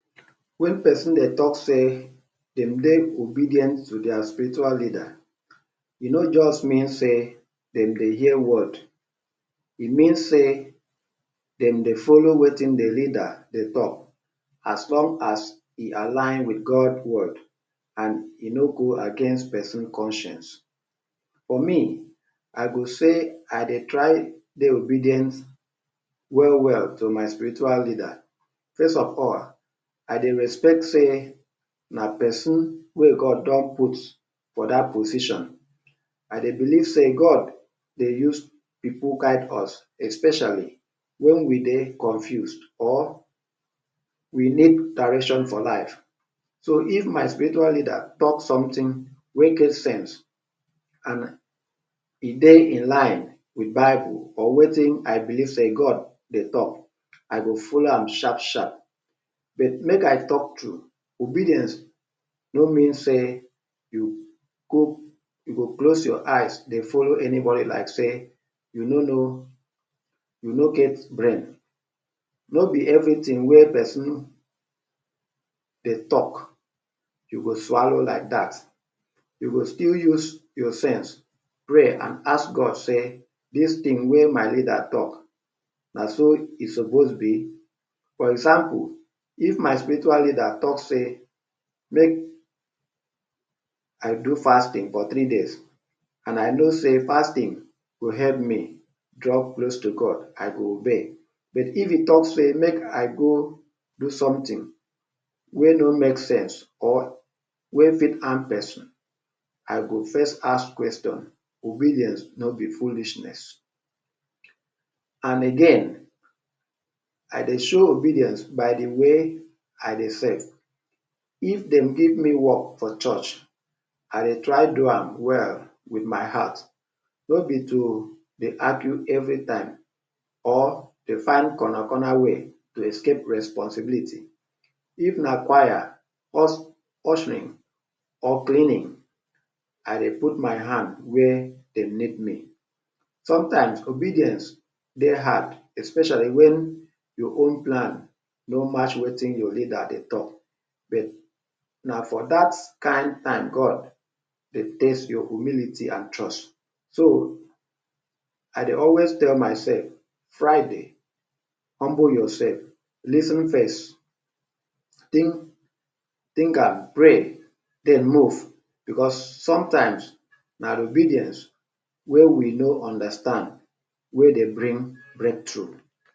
Wen person dey talk sey dem dey obedient to their spiritual leader, e no just mean sey dem dey hear word. E mean sey dem dey follow wetin de leader dey talk as long as e align wit God word and e no go against person conscience. For me, I go say I dey try dey obedient well well to my spiritual leader. First of all, I dey respect sey na person wey God don put for dat position. I dey believe sey God dey use pipu guide us especially wen we dey confused or we need direction for life. So if my spiritual leader talk something wey get sense and e dey in line wit bible or wetin I believe sey God dey talk, I go follow am sharp sharp but make I talk true obedience no mean sey you? you go close your eyes dey follow anybody like sey you no know, you no get brain. No be everything wey person dey talk you go swallow like that. You go still use your sense, pray and ask God say “dis thing wey my leader talk, na so e suppose be”. For example if my spiritual leader talk say make I do fasting for three days and I know sey fasting go help me draw close to God, I go obey but if he talk say make I go do something wey no make sense or wey fit harm person, I go first ask question. Obedience no be foolishness. And again I dey show obedience by de way I dey serve. If dem give me work for church, I dey try do am well wit my heart. No be to dey argue every time or dey find corner corner way to escape responsibility. If na choir,?, ushering or cleaning; I dey put my hand where dem need me. Sometimes obedience dey hard especially wen your own plan no match wetin your leader dey talk but na for dat kain time God dey test your humility and trust. So I dey always tell myself “Friday, humble yourself, lis ten first”. Think, think am pray, den move because sometimes na de obedience wey we no understand wey dey bring breakthrough.